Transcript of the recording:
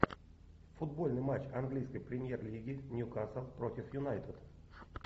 футбольный матч английской премьер лиги ньюкасл против юнайтед